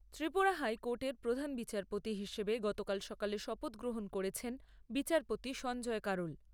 ত্রিপুরা হাইকোর্টের প্রধান বিচারপতি হিসেবে গতকাল সকালে শপথ গ্রহণ করেছেন বিচারপতি সঞ্জয় কারোল।